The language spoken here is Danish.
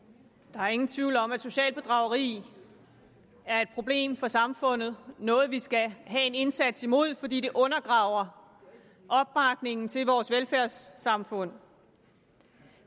der er ingen tvivl om at socialt bedrageri er et problem for samfundet noget vi skal have en indsats imod fordi det undergraver opbakningen til vores velfærdssamfund